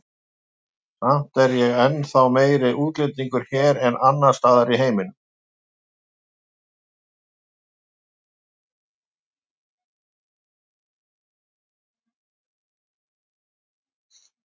Samt er ég ennþá meiri útlendingur hér en annars staðar í heiminum.